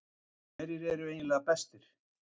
Hverjir eru eiginlega bestir?